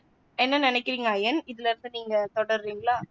என்ன நினைக்குறீங்க ஐயன் இதுல இருந்து நீங்க தொடருறீங்களா.